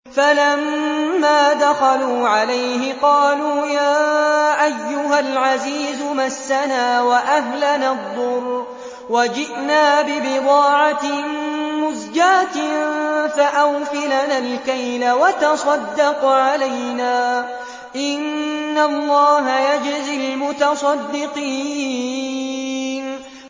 فَلَمَّا دَخَلُوا عَلَيْهِ قَالُوا يَا أَيُّهَا الْعَزِيزُ مَسَّنَا وَأَهْلَنَا الضُّرُّ وَجِئْنَا بِبِضَاعَةٍ مُّزْجَاةٍ فَأَوْفِ لَنَا الْكَيْلَ وَتَصَدَّقْ عَلَيْنَا ۖ إِنَّ اللَّهَ يَجْزِي الْمُتَصَدِّقِينَ